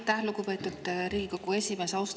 Aitäh, lugupeetud Riigikogu esimees!